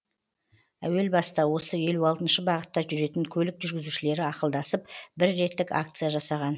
әуел баста осы елу алтыншы бағытта жүретін көлік жүргізушілері ақылдасып бір реттік акция жасаған